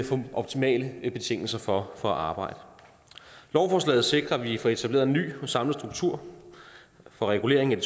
får optimale betingelser for at arbejde lovforslaget sikrer at vi får etableret en ny og samlet struktur for reguleringen af